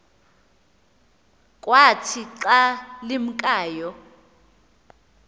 kwathi xa limkayo